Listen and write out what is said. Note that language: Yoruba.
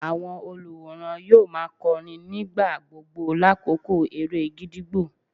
Àwọn olùwòran yóò má a kọrin nígbà gbogbo lákòókò eré gídígbò.